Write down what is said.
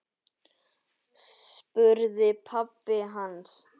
spurði pabbi hans.